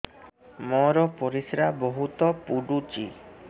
ମୋର ପରିସ୍ରା ବହୁତ ପୁଡୁଚି